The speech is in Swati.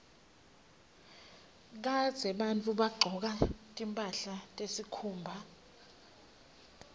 kadzeni bantfu babegcoka timphahla tesikhumba